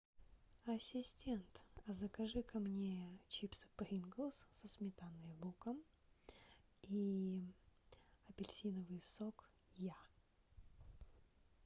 ассистент а закажи ка мне чипсы принглс со сметаной и луком и апельсиновый сок я